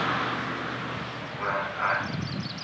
vhulamukanyi